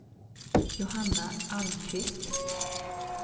Johanna Almqvist